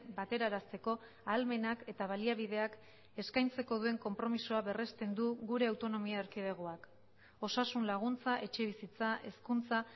baterarazteko ahalmenak eta baliabideak eskaintzeko duen konpromisoa berresten du gure autonomia erkidegoak osasun laguntza etxebizitza hezkuntza